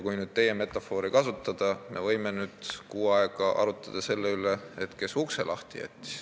Kui teie metafoori kasutada, siis me võime kuu aega arutleda selle üle, kes ukse lahti jättis.